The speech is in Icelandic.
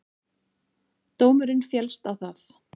Dómurinn féllst á það